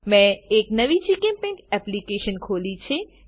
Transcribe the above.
મેં એક નવી જીચેમ્પેઇન્ટ એપ્લીકેશન ખોલી છે